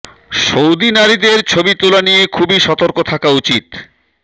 Saudi নারীদের ছবি তোলা নিয়ে খুবই সতর্ক থাকা উচিৎ